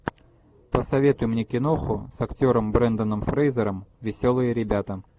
посоветуй мне киноху с актером бренданом фрейзером веселые ребята